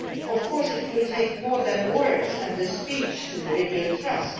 Of course, it will take more than words and a speech to rebuild trust.